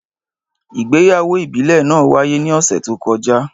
Ìgbéyàwó ìbílẹ̀ náà wáyé ní ọ̀sẹ̀ tó kọjá.